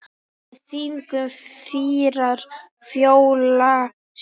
Með þingum fýrar fjölga sér.